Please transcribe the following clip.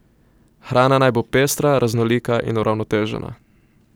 Hrana naj bo pestra, raznolika in uravnotežena.